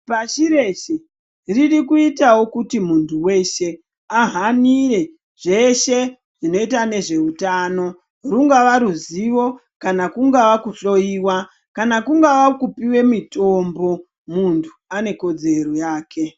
Pashireshe ririkuitavo kuti muntu veshe ahanire zveshe zvinota nezveutano. Rungava ruzivo kana kungava kuhoiwa kana kungava kupive mutombo, muntu ane kodzero yake.